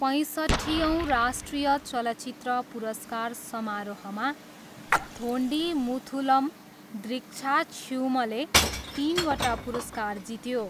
पैँसट्ठियौँ राष्ट्रिय चलचित्र पुरस्कार समारोहमा थोन्डिमुथलम द्रिक्षाक्ष्युमले तिनवटा पुरस्कार जित्यो।